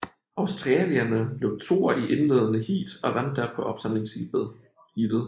Australierne blev toer i indledende heat og vandt derpå opsamlingsheatet